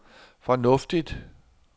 fornuftigt